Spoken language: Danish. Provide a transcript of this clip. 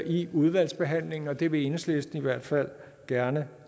i udvalgsbehandlingen det vil enhedslisten i hvert fald gerne